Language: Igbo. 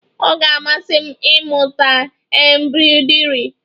Ọ ga-amasị m ịmụta embroidri